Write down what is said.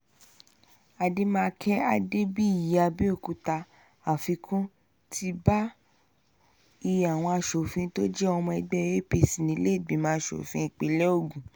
àdèmàkè adébíyìàbẹ̀òkúta àfikún ti bá iye àwọn asòfin tó jẹ́ ọmọ ẹgbẹ́ apc nílẹ̀ẹ́gbìmọ̀ asòfin ìpínlẹ̀ ogun